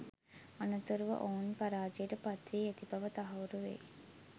අනතුරුව ඔවුන් පරාජයට පත්වී ඇති බව තහවුරු වෙයි